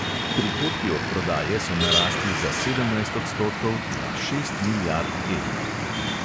Prihodki od prodaje so narastli za sedemnajst odstotkov, na šest milijard evrov.